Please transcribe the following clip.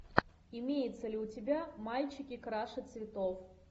имеется ли у тебя мальчики краше цветов